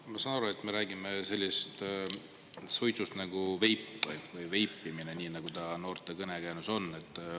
Ma saan aru, et me räägime sellest suitsust nagu veip või veipimine, nii nagu ta noorte kõnekäänus on.